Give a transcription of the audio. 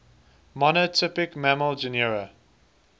monotypic mammal genera